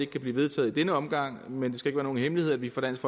kan blive vedtaget i denne omgang men det skal ikke være nogen hemmelighed at vi fra dansk